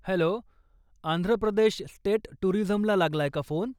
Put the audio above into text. Hello, Andhra Pradesh state टूरिझमला लागलाय का phone?